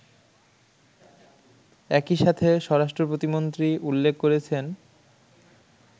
একইসাথে স্বরাষ্ট্রপ্রতিমন্ত্রী উল্লেখ করেছেন